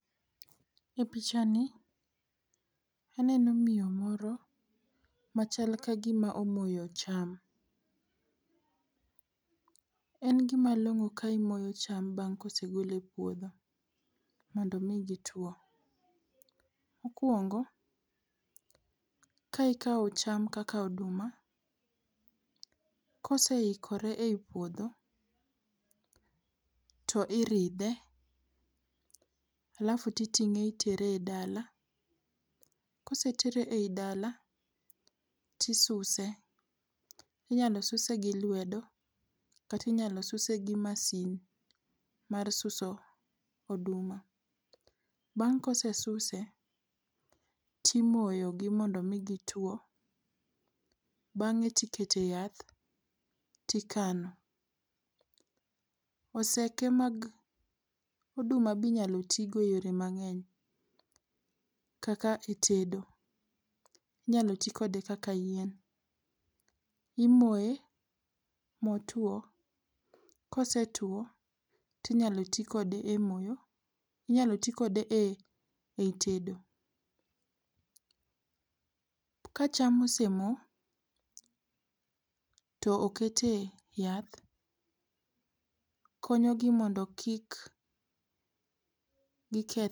E pichani aneno miyo moro machal kagima omoyo cham. En gima long'o ka imoyo cham bang' ka osegole e puodho mondo mi gituo. Mokuongo ka ikao cham kaka oduma, koseikore ei puodho to iridhe, halafu itinge itere e dala. Kosetere ei dala to isuse, inyalo suse gi lwedo kata inyal suse g masin mar suso oduma. Bang' kosesuse timoyogi mondo migituo, bange tikete yath tikano. Oseke mag oduma be inyalo tii go e yoo mangeny. kaka e tedo, inyalo tii kode kaka yien, imoye ma otuo, ka osetuo inyalo tii kode e moyo, inyalo tii kode ei tedo. Ka cham ose mo to okete yath, konyogi mondo kik gikethre